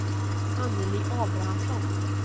Annelie Abrahamsson